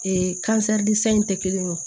in tɛ kelen ye o